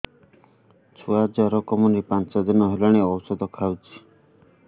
ଛୁଆ ଜର କମୁନି ପାଞ୍ଚ ଦିନ ହେଲାଣି ଔଷଧ ଖାଉଛି